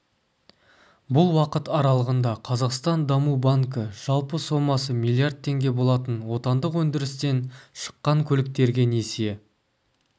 бұл уақыт аралығында қазақстан даму банкі жалпы сомасы миллиард теңге болатын отандық өндірістен шықанкөліктерге несие